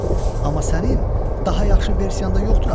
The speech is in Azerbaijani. Amma sənin daha yaxşı versiyan da yoxdur axı.